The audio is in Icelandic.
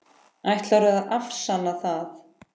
Ætlarðu að afsanna það?